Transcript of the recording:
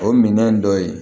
O minɛn dɔ ye